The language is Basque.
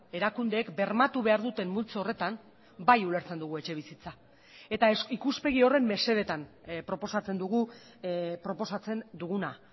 erakundeek bermatu behar duten multzo horretan bai ulertzen dugu etxebizitza eta ikuspegi horren mesedetan proposatzen dugu proposatzen duguna